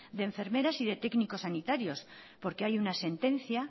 de enfermeras y de técnicos sanitarios porque hay una sentencia